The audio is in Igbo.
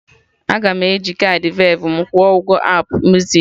Aga m eji kaadị Verve m kwụọ ụgwọ Apụ muzik